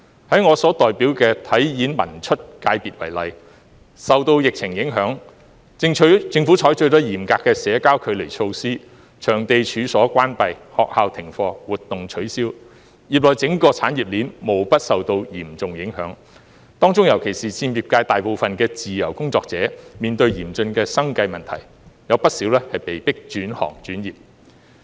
在我所代表的體育、演藝、文化及出版界功能界別為例，受到疫情影響，政府採取了嚴格的社交距離措施，場地及處所關閉，學校停課，活動取消，業內整個產業鏈無不受到嚴重影響，當中尤其是佔業界大部分的自由工作者，面對嚴峻的生計問題，不少被迫轉行轉業。